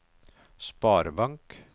sparebank